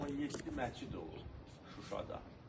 Burda 17 məscid olub Şuşada.